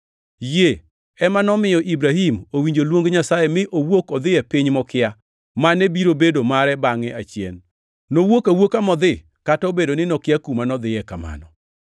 Yie ema nomiyo Ibrahim owinjo luong Nyasaye mi owuok odhi e piny mokia, mane biro bedo mare bangʼe achien. Nowuok awuoka modhi kata obedo ni nokia kuma nodhiye kamano.